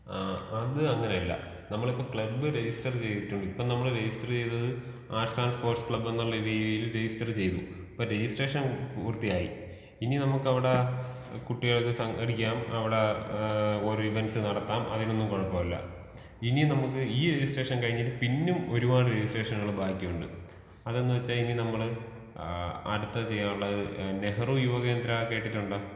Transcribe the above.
ആ അത് അങ്ങനെ അല്ല. നമ്മള്ളിപ്പോ ക്ലബ് രജിസ്റ്റർ ചെയ്തിട്ടും. ഇപ്പോ നമ്മൾ രജിസ്റ്റർ ചെയ്തത് ആശാൻ സ്പോർട്സ് ക്ലബ് എന്നുള്ള രീതിയിൽ രജിസ്റ്റർ ചെയ്തു. അപ്പോ രെജിസ്ട്രേഷൻ പൂർത്തിയായി. ഇനി നമ്മുക്ക് അവിടെ കുട്ടികൾക്ക് സംഘടിക്കാം, അവിടെ ഏഹ് ഒരു ഇവന്റസ് നടത്താം അതിനൊന്നും കൊഴപ്പമില്ല.ഇനി നമ്മുക്ക് ഈ ഒരു രെജിസ്ട്രേഷൻ കഴിഞിട്ട് പിന്നും ഒരുപാട് രെജിസ്ട്രേഷനുകൾ ബാക്കിയുണ്ട്. അതെന്ന് വെച്ച ഇനി നമ്മൾ ആ അടുത്തത് ചെയ്യാനുള്ളത് നെഹ്റു യുവകേന്ദ്ര കേട്ടിട്ടുണ്ടോ?